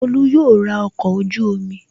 Tolú yóò ra ọkọ̀ ojú-omi